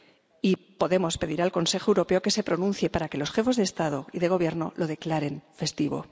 Y podemos pedir al Consejo Europeo que se pronuncie para que los jefes de Estado y de Gobierno lo declaren festivo.